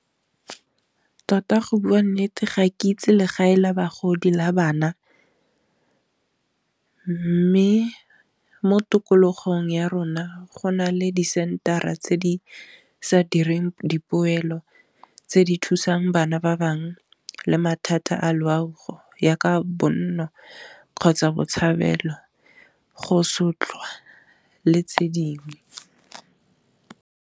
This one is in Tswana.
Tota go bua nnete ga ke itse legae la bagodi le la bana, mme mo tikologong ya rona go na le di center-a tse di sa direng dipoelo, tse di thusang bana ba bangwe le mathata a loago yaka bonno, kgotsa botshabelo go sotlwa le tse dingwe.